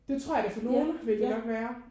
Det tror jeg da for nogen ville det nok være